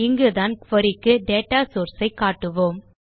இங்குதான் குரி க்கு data source ஐ காட்டுவோம்